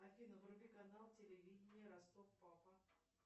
афина вруби канал телевиденья ростов папа